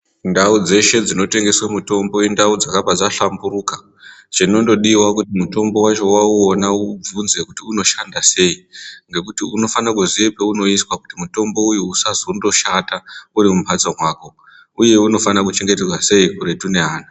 Ndau dzeshe dzino tengeswa mitombo indau dzakabva dza dhlamburuka chinondodiwa kuti mitombo wacho wa uwona ubvunze kuti uno shanda sei ngekuti unofana kuziva pauno iswa kuti mutombo uyu usazongo shata uri mumbatso mako uye unofana kuchengetedzwa sei kuretu kwe ana.